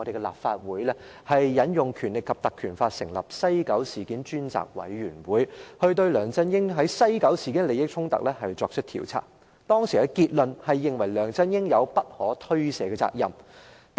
立法會引用了《立法會條例》成立專責委員會進行調查。當時的結論是梁振英有不可推卸的責任。